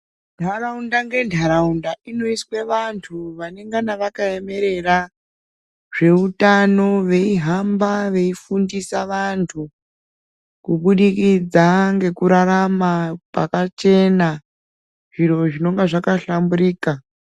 Ntaraunda ngentaraunda inoiswe vantu vanongana vakaemerera zveutano veihamba veifundisa vantu kubudikidza ngekurarama kwakachena zviro zvinenge zvakahlamburika.